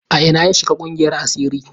A ina ya shiga ƙungiyar asiri?